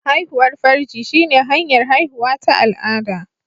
Haihuwar farji shine hanyar haihuwa ta al'ada